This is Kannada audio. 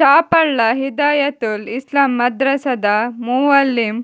ಚಾಪಳ್ಳ ಹಿದಾಯತುಲ್ ಇಸ್ಲಾಂ ಮದ್ರಸದ ಮುವಲ್ಲಿಂ